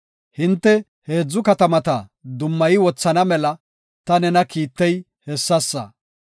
Hinte heedzu katamata dummayi wothana mela ta nena kiittey hessasa.